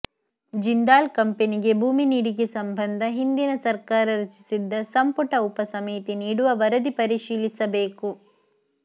ಜಿಂದಾಲ್ ಕಂಪನಿಗೆ ಭೂಮಿ ನೀಡಿಕೆ ಸಂಬಂಧ ಹಿಂದಿನ ಸರ್ಕಾರ ರಚಿಸಿದ್ದ ಸಂಪುಟ ಉಪ ಸಮಿತಿ ನೀಡುವ ವರದಿ ಪರಿಶೀಲಿಸಬೇಕು